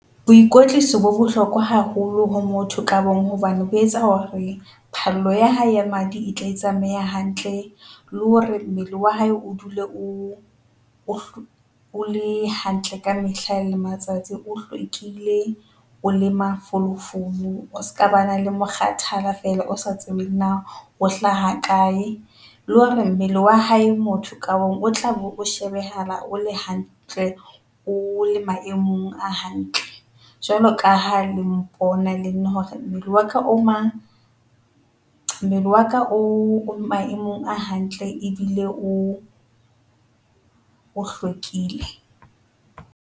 Boikwetliso bo bohlokwa haholo ho motho ka bong hobane bo etsa hore phallo ya hae ya madi e tle e tsamaye hantle le hore mmele wa hae o dule o, o o le hantle ka mehla le matsatsi o hlwekile. O le mafolofolo, o ska ba na le mokgathala feela o sa tsebeng na o hlaha kae le hore mmele wa hae motho ka mong o tla be, o shebehala o le hantle, o le maemong a hantle jwalo ka ha le mpona le nna hore mmele wa ka o mang, mmele waka o o maemong a hantle ebile o, o hlwekile.